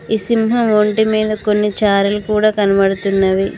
ఈ సింహం ఒంటి మీద కొన్ని చారలు కూడా కనబడుతున్నవి.